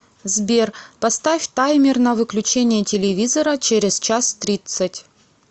сбер поставь таймер на выключение телевизора через час тридцать